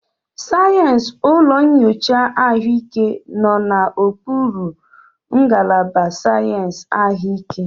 Sayensị ụlọ nyocha ahụike nọ n'okpuru ngalaba sayensị ahụike.